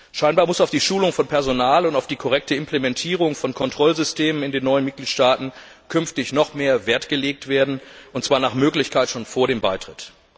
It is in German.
Anscheinend muss auf die Schulung von Personal und auf die korrekte Implementierung von Kontrollsystemen in den neuen Mitgliedstaaten künftig noch mehr Wert gelegt werden, und zwar nach Möglichkeit schon vor dem Beitritt.